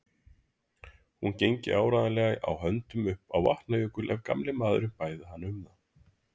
Hún gengi áreiðanlega á höndum upp á Vatnajökul ef gamli maðurinn bæði hana um það.